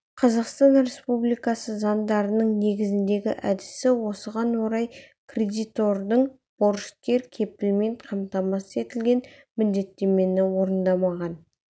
қазақстан республикасы заңдарының негізіндегі әдісі осыған орай кредитордың борышкер кепілмен қамтамасыз етілген міндеттемені орындамаған